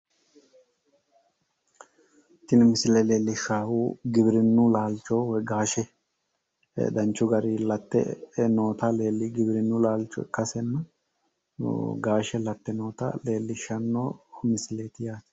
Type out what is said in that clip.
Tini misile leellishshaahu giwirinnu laalcho woy gaashe danchu gari latte noota giwirinnu laalcho ikkase gaashe labbe noota leellishshanno misileeti yaate